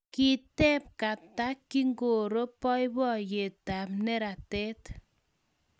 Kiteb Kata kingoro boiboiyetab neratat